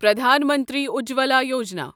Pradhan Mantri Ujjwala Yojana